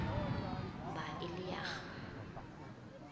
ba e le ya go